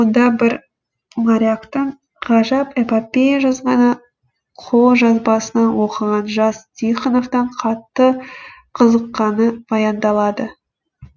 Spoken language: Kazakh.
онда бір моряктың ғажап эпопея жазғаны қолжазбасынан оқыған жас тихоновтың қатты қызыққаны баяндалады